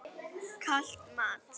Kalt mat?